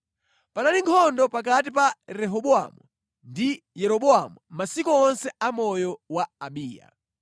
Panali nkhondo pakati pa Rehobowamu ndi Yeroboamu masiku onse a moyo wa Abiya.